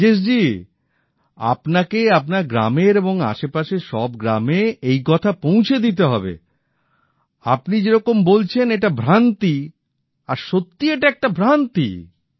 রাজেশ জি আপনাকে আপনার গ্রামের এবং আশেপাশের সব গ্রামে এই কথা পৌঁছে দিতে হবে আপনি যেওরকম বলছে এটা ভ্রান্তি আর সত্যি এটা একটা ভ্রান্তি